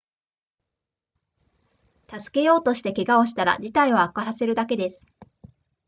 助けようとして怪我をしたら事態を悪化させるだけです